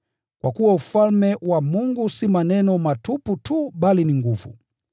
Kwa kuwa Ufalme wa Mungu si maneno matupu tu bali ni nguvu.